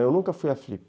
Eu nunca fui à Flip.